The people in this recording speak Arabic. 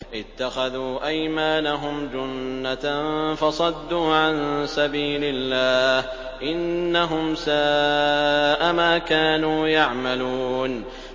اتَّخَذُوا أَيْمَانَهُمْ جُنَّةً فَصَدُّوا عَن سَبِيلِ اللَّهِ ۚ إِنَّهُمْ سَاءَ مَا كَانُوا يَعْمَلُونَ